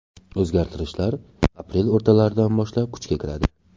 O‘zgartirishlar aprel o‘rtalaridan boshlab kuchga kiradi.